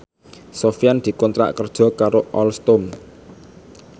Sofyan dikontrak kerja karo Alstom